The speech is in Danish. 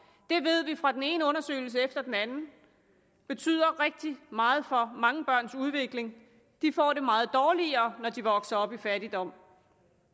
det ved vi fra den ene undersøgelse efter den anden betyder rigtig meget for mange børns udvikling de får det meget dårligere når de vokser op i fattigdom